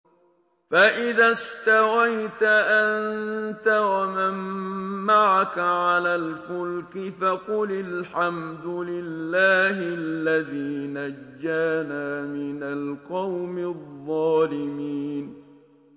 فَإِذَا اسْتَوَيْتَ أَنتَ وَمَن مَّعَكَ عَلَى الْفُلْكِ فَقُلِ الْحَمْدُ لِلَّهِ الَّذِي نَجَّانَا مِنَ الْقَوْمِ الظَّالِمِينَ